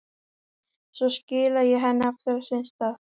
Svo skila ég henni aftur á sinn stað.